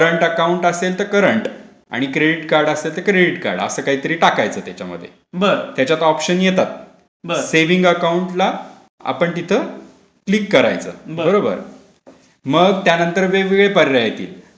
Current account असेल तर current आणि क्रेडिट कार्ड असेल तर क्रेडिट कार्ड असं काहीतरी टाकायचं. त्याच्यामध्ये त्याच्यात ऑप्शन येतात.सेविंग अकाउंटला आपण तिथ क्लिक करायचं बरोबर.मग त्यानंतरवेगवेगळे पर्याय येथील.